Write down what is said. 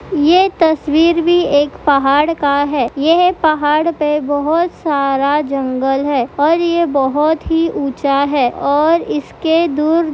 ये तस्वीर भी एक पहाड़ का है यह पहाड़ पे बहोत सारा जंगल है और ये बहोत ही ऊँचा है और इसके दूर--